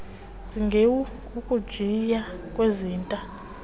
zigeawu ukujiya kwezinta